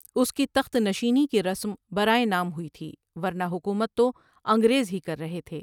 اس کی تخت نشینی کی رسم برائے نام ہوئی تھی ورنہ حکومت تو انگریز ہی کر رہے تھے ۔